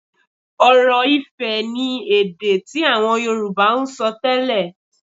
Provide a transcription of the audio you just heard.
Ọ̀rọ̀-ifẹ̀ ni èdè tí àwọn Yorùbá ń sọ tẹ́lẹ̀